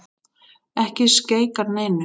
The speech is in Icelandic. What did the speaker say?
Ekki skeikar neinu.